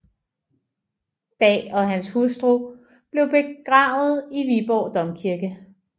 Daa og hans hustru blev begravet i Viborg Domkirke